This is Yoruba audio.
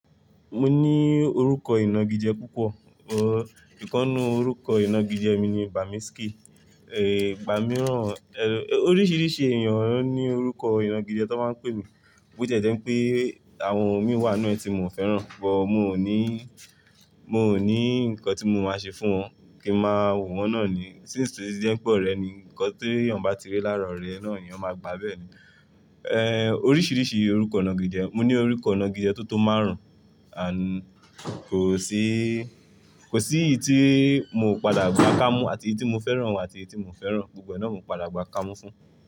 Mo ní orúkọ ìnagijẹ púpọ̀, ọ, ìkánú orúkọ ìnagijẹ mi ni Bamiski. Ẹ̀, gbà mí rán, ẹ, oríṣiríṣi ènìyàn ní orúkọ ìnagijẹ tí wọ́n máa ń pè mi, bó ti jẹ́ pé àwọn òmíì wà nínú ẹ̀ tí mo fẹ́ràn, ṣùgbọ́n mo ní, mo ní nǹkan tí mo máa ṣe fún wọn kí n máa wò wọ́n náà ní, sínce toti je pe orẹ́ ni, ǹkan tí ènìyàn bá ti rí lára ọ̀rẹ́ náà, ènìyàn máa gbà á bẹ́ẹ̀ ni. Ẹ̀, oríṣiríṣi orúkọ ìnagijẹ, mo ní orúkọ ìnagijẹ tó tó márùn-ún, àń, kò sí, kò sí èyí tí mo padà gba kámú àti èyí tí mo fẹ́ràn àti èyí tí mo fẹ́ràn, gbogbo ẹ̀ náà mo padà gba kámú fún un.